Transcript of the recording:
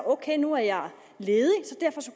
ok nu er jeg ledig